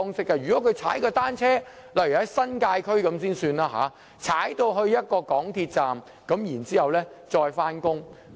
舉例來說，如果是住在新界區，市民可以踏單車前往一個港鐵站，然後再上班。